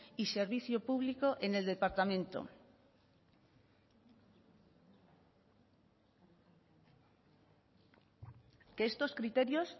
y servicio público en el departamento que estos criterios